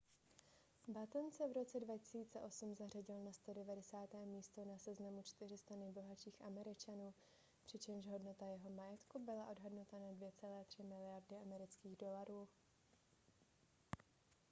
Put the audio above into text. batten se v roce 2008 zařadil na 190. místo na seznamu 400 nejbohatších američanů přičemž hodnota jeho majetku byla odhadnuta na 2,3 miliardy amerických dolarů